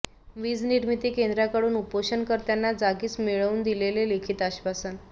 वीज निर्मिती केंद्राकडून उपोषणकर्त्यांना जागीच मिळवून दिले लिखित आश्वासन